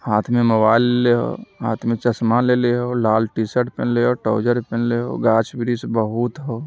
हाथ में मोबाइल लेले हो हाथ में चश्मा लेले हो लाल टी-शर्ट t-shirt} पहने हो टाउजर पहनले हो गाछ-बिरिछ बहुत हो।